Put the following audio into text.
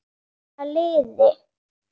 Að safna liði!